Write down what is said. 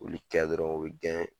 Olu ca dɔrɔn o bi gɛn